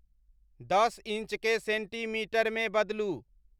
दस इंचकेँ सेंटीमीटरमे बदलू